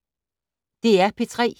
DR P3